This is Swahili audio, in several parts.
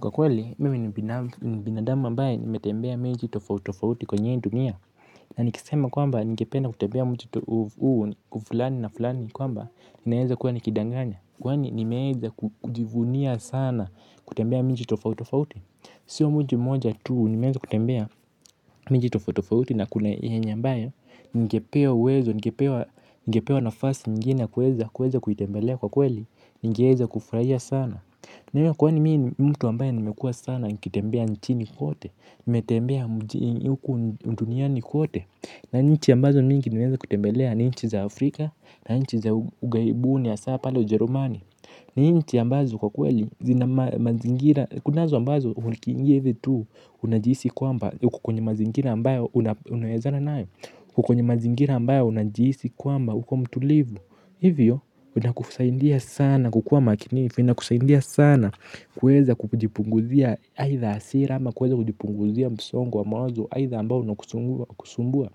Kwa kweli, mimi ni binadamu ambae nimetembea miji tofautofauti kwenye ii dunia. Na nikisema kwamba nikependa kutembea mji tofautofauti kwa kwamba naeza kuwa nikidanganya. Kwani nimeeza kujivunia sana kutembea miji tofautofauti. Sio mji moja tuu nimeeza kutembea miji tofautofauti na kuna yenye ambae ningepewa uwezo, ningepewa nafasi nyingine na kueza kuitembelea kwa kweli. Ningeeza kufraia sana. Na hiyo kwani mii mtu wambayo namekua sana nikitembea nchini kote nimetembea huku unduniani kote. Na nchi ambazo mingi niweza kutembelea. Nchi za Afrika Na nchi za ugaibuni ya saa pale ujerumani. Nchi ambazo kwa kweli kunazo ambazo hukiingia hivyo tu. Unajihisi kwamba uko kwenye mazingira ambayo unaezana nae. Kukonye mazingira ambayo unajihisi kwamba huko mtulivu. Hivyo unakufusahindia sana kukua makinifu ina kusaidia sana kueza kujipunguzia aida asira ama kweza kujipunguzia msongo wa mawzo. Aida ambao unakusumbua.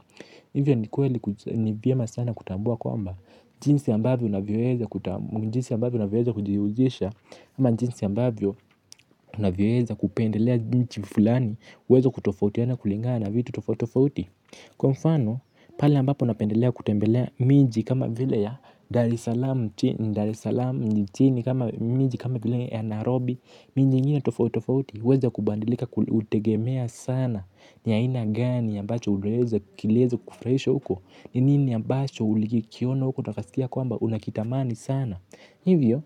Hivyo ni kweli ni vyema sana kutambua kwamba jinsi ambavyo unavyeza kutambua njinsi ambavyo unavyoeza kujihusisha. Ama jinsi ambavyo unavyeza kupendelea nchi mfulani. Uweza kutofautiana kulingana vitu tofautofauti. Kwa mfano pale ambapo napendelea kutembea miji kama vile ya der salama nchini miji kama vile ya nairobi miji ingine tofautofauti uweza kubadilika hutegemea sana ni ana gani aambacho kilieza kufraisha huko ni nini ambachom ilikiona huko na ukiskia kwamba unakitamani sana hivyo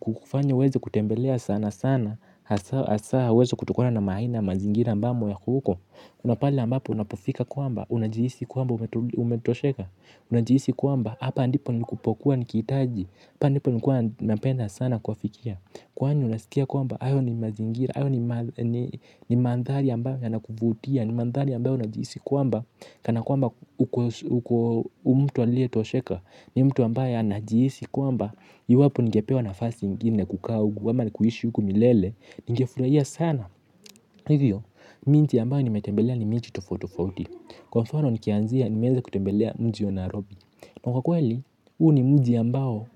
kufanya uweza kutembelea sana sana. Asa uweza kutokona na maina mazingira mbamo yako huko napali ambapo unapofika kuamba, unajihisi kuamba umetosheka. Unajiisi kwamba hapa ndipo nukupokuwa nikitaji. Hapa ndipo nukua napenda sana kwa fikia. Kwani unasikia kwamba ayo ni mazingira. Ayo ni mandhali ambayo yanakuvutia. Ni mandhali ambayo unajiisi kwamba kana kwamba umtu alie tosheka. Ni mtu ambaye anajiisi kwamba iwapo nigepewa nafasi mgini nekukaa uku ama ni kuhishi uku milele. Ningefurahia sana. Hivyo, miji ambayo nimetembelea ni minti tofotofoti. Kwa mfano ni kianzia ni meze kutembelea mji ya narobi. Na kwa kweli, huu ni mji ambao,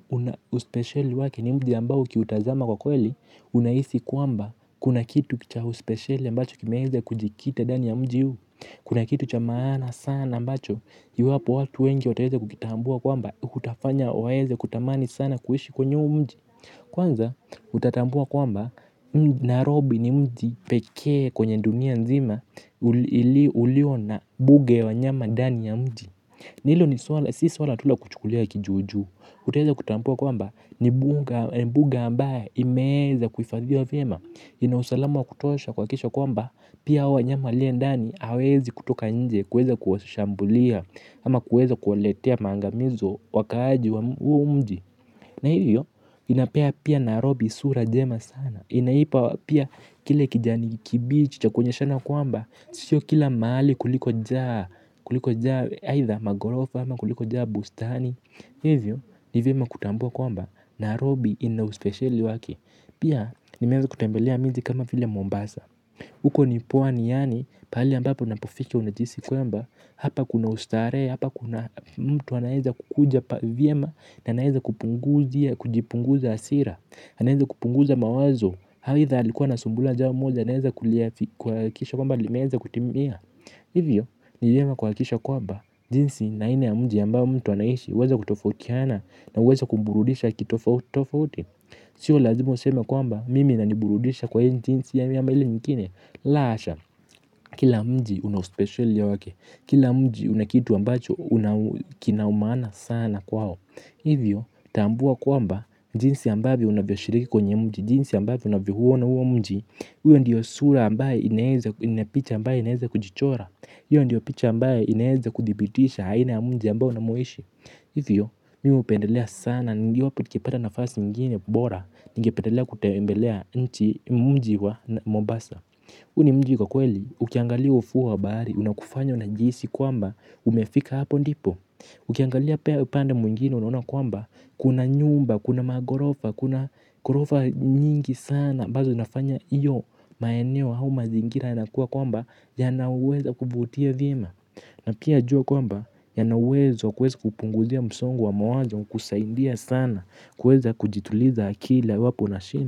uspeshele wake ni mji yambao kiutazama kwa kweli. Unaisi kwamba, kuna kitu kicha uspeshele mbacho kimeze kujikita dani ya mji huu. Kuna kitu chamana sana mbacho, yu hapo watu wengi otaheze kukitambua kwamba kutafanya waeze kutamani sana kuhishi kwenye mji. Kwanza, utatambua kwamba, narobi ni mji pekee kwenye dunia nzima ili uliona buge wa nyama dani ya mji. Hilo ni swala, si swala tula kuchukulia kijujuu. Utaeza kutampua kwamba, ni buga ambaye imeza kufadhiwa vima. Inausalama wa kutosha kwa kisha kwamba, pia hawa nyama walie ndani, hawezi kutoka nje, kueza kuhashambulia, ama kueza kualetea mangamizo wakaaji wa mji. Na hiyo, inapea pia narobi sura jema sana. Inaipa pia kile kijani kibichi chakuonyeshana kwamba, sio kila mahali kuliko jaa kuliko jaa magorofa ama kuliko jaa Bustani. Hivyo ni vyema kutambua kwamba narobi ina uspesheali waki. Pia nimeeza kutembelea mizi kama vile Mombasa. Uko ni pwani yani pali ambapo na pofiki unajisi kwamba hapa kuna ustare. Hapa kuna mtu anaeza kukuja. Vyema na anaeza kupunguza. Kujipunguza asira. Anaeza kupunguza mawazo. Haitha alikuwa na sumbua jambo moja. Anaeza kulia kisha kwamba limeeza kutimia. Hivyo niyema kuhakisha kwamba jinsi na ina ya mji ambaop mtu anaishi. Weza kutofokiana. Na weza kumburudisha kitofauti. Sio lazima useme kwamba mimi na niburudisha kwa hii jinsi ama ile nyingine. La asha. Kila mji unauspecial ya wake. Kila mji unakitu ambacho unakina umana sana kwa ho hivyo tambua kwamba jinsi ambavyo aunavyoshiriki kwenye mji jinsi ambavyo unauona huo mji hiyo ndio sura ambaye picha ambayo inaweza kujichora hiyo ndio picha ambayinaeza kudhibitisha aina ya mji ambao unamo ishi. Hivyo, mimi upendelea sana. Niwapo nikipata na fasi mgini bora. Ningependelea kutembelea nchi mji wa mombasa Uni mji kwa kweli, ukiangalia ufuu wa bahari. Una kufanya unajiisi kwamba umefika hapo ndipo. Ukiangalia pia upande mungini unaona kwamba kuna nyumba, kuna magorofa, kuna gorofa nyingi sana ambazo nafanya iyo maeneo hau mazingira yanakuwa kwamba ya naweza kuvutia vima. Na pia ajua kwamba yanawezo kuweza kupunguzia msongo wa mawazo kusaindia sana. Kuweza kujituliza akili iwapu unashin.